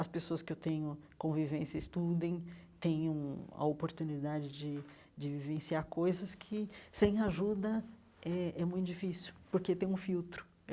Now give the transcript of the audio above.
as pessoas que eu tenho convivência estudem, tenham a oportunidade de de vivenciar coisas que, sem ajuda, é é muito difícil, porque tem um filtro.